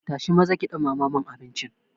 Tashi maza ki ɗumama mun abincin.